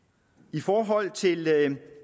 i forhold til